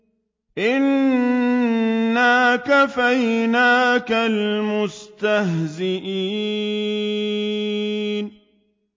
إِنَّا كَفَيْنَاكَ الْمُسْتَهْزِئِينَ